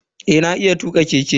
Eh na iya tuka keke.